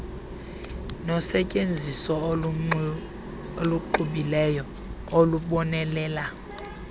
nosetyenziso oluxubileyo olubonelela